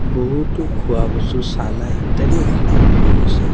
বহুতো খোৱা বস্তু চানা ইত্যাদি দেখিবলৈ পোৱা গৈছে।